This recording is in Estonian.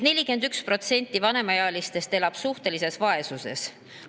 41% vanemaealistest elab suhtelises vaesuses.